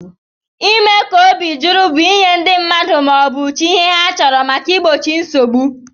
Ime ka obi juru bu inye ndi mmadu ma obu chi ihe ha chọrọ maka igbochi nsogbu.